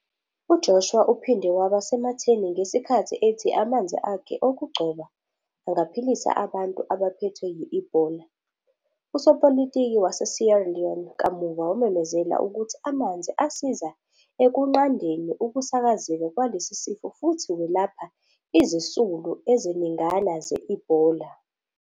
UJoshua uphinde waba sematheni ngesikhathi ethi amanzi akhe okugcoba angaphilisa abantu abaphethwe yi-Ebola. Usopolitiki waseSierra Leone kamuva wamemezela ukuthi amanzi asiza ekunqandeni ukusakazeka kwalesi sifo futhi welapha izisulu eziningana ze-Ebola.